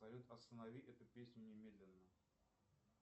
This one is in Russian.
салют останови эту песню немедленно